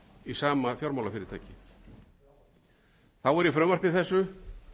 í sama fjármálafyrirtæki þá er í frumvarpi þessu